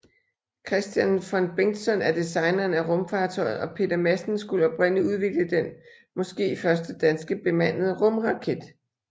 Kristian von Bengtson er designeren af rumfartøjet og Peter Madsen skulle oprindelig udvikle den måske første danske bemandede rumraket